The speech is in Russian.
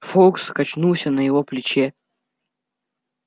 фоукс качнулся на его плече